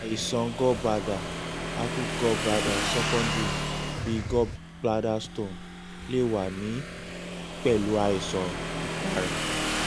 àìsàn gallbladder acute gallbladder secondary bi gallbladder stones lè wà ní pẹ̀lú àìsàn ibàrá